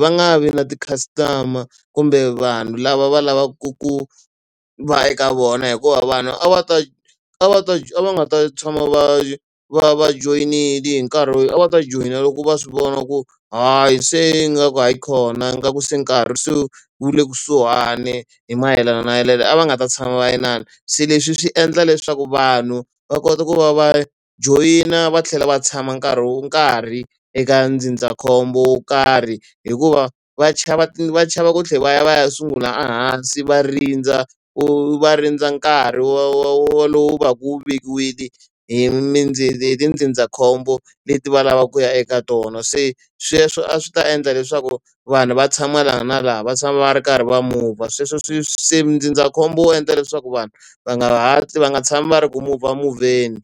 va nga vi na ti-customer kumbe vanhu lava va lavaku ku va eka vona hikuva vanhu a va ta a va ta a va nga ta tshama va va va joyinile hi nkarhi lowu a va ta joyina loko va swi vona ku hayi se ingaku hayikhona ingaku se nkarhi se wu le kusuhani hi mayelana na , a va nga ta tshama va inana. Se leswi swi endla leswaku vanhu va kota ku va va joyina va tlhela va tshama nkarhi karhi eka ndzindzakhombo wo karhi, hikuva va chava va chava ku tlhela va ya va ya sungula hansi va rindza, va rindza nkarhi wolowo wu va wu vekiwile hi hi tindzindzakhombo leti va lavaka ku ya eka tona. Se sweswo a swi ta endla leswaku vanhu va tshama laha na laha va tshama va ri karhi va move-a, sweswo swi se ndzindzakhombo wu endla leswaku vanhu va nga hatli va nga tshami va ri ku move-a move-eni.